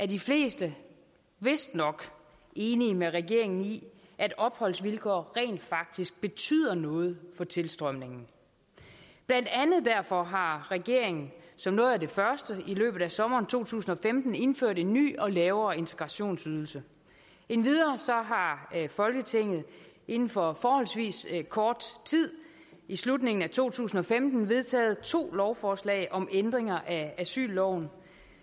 de fleste vistnok enige med regeringen i at opholdsvilkår rent faktisk betyder noget for tilstrømningen blandt andet derfor har regeringen som noget af det første i løbet af sommeren to tusind og femten indført en ny og lavere integrationsydelse endvidere har folketinget inden for forholdsvis kort tid i slutningen af to tusind og femten vedtaget to lovforslag om ændringer af asylloven